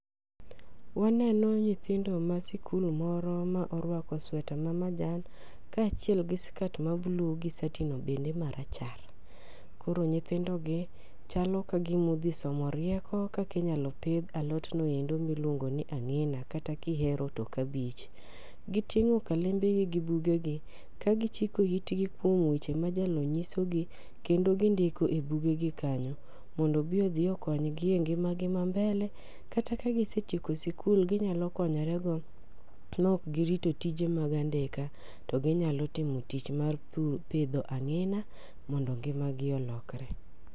Waneno nyithindo ma sikul moro ma orwako sweta mamajan kaachiel gi skat mambulu gi sati no bende marachar. Koro nyithindo gi chalo kagima odhi somo rieko kaka inyalo pidh alot no endo miluongo ni ang'a kata ka ihero to kabich. Giting'o kalembegi gi bugegi kagi chiko itgi kuom weche ma jalony nyisogi kendo gindiko e bugegi kanyo mondo odhi okony gi e ngimagi ma mbele. Kata ka gise tieko sikul, ginyalo konyorego kaok girito tije mag andika to ginyalo timo tich mar pur pidho ang'ina mondo ngimagi olokre.